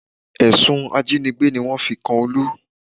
Ẹ̀sùn ajínigbé ni wọ́n fi kan Olú